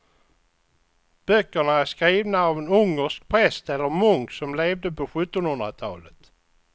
Böckerna är skrivna av en ungersk präst eller munk som levde på sjuttonhundratalet.